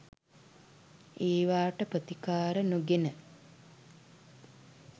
ඒවාට ප්‍රතිකාර නොගෙන